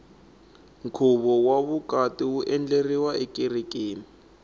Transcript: nkhuvo wa vukati wu endleriwa ekerekeni